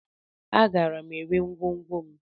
Agara m ere ngwongwo m.